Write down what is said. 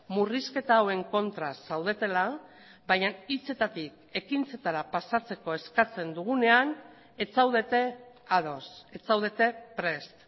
murrizketa hauen kontra zaudetela baina hitzetatik ekintzetara pasatzeko eskatzen dugunean ez zaudete ados ez zaudete prest